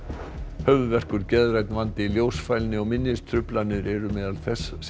höfuðverkur geðrænn vandi ljósfælni og minnistruflanir eru meðal þess sem